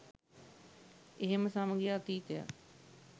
එහෙම සමගි අතීතයක්